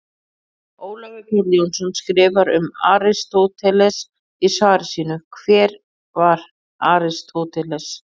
Ólafur Páll Jónsson skrifar um Aristóteles í svari sínu Hver var Aristóteles?